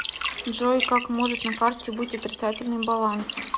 джой как может на карте быть отрицательный баланс